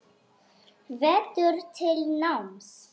Hvetur til náms.